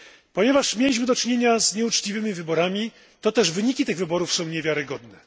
Ponieważ mieliśmy do czynienia z nieuczciwymi wyborami, toteż wyniki tych wyborów są niewiarygodne.